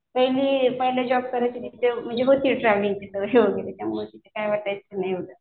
पहिले पहिले जॉब करायची तिथे होती ट्रॅव्हलिंग त्यामुळं तिथं काय वाटायचं नाही एवढं.